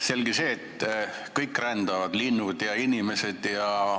Selge see, et kõik rändavad: linnud ja inimesed.